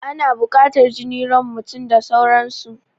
Ana buƙatan jini, ran mutum da sauran su